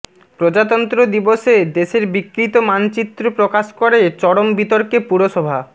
প্রজাতন্ত্র দিবসে দেশের বিকৃত মানচিত্র প্রকাশ করে চরম বিতর্কে পুরসভা